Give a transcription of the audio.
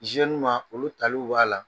ma olu tali b'a la.